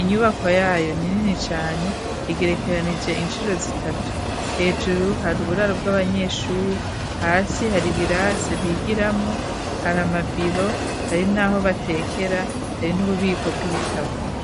Inyubako yayo ni nini cane, igerekeranije incuro zitatu. Hejuru hari uburaro bw'abanyeshuri, hasi hari ibirase bigiramwo, hari amabiro, hari n'aho batekera, hari n'ububiko bw'ibitabo.